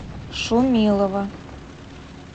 шумилова